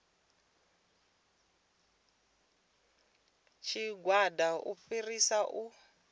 tshigwada u fhirisa u ya